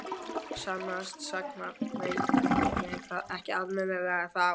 Sannast sagna veit ég það ekki almennilega ennþá.